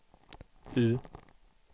U